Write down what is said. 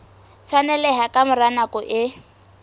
tshwaneleha ka mora nako e